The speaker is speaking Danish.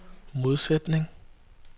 modsætning